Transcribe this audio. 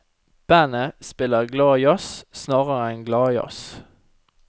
Bandet spiller glad jazz snarere enn gladjazz.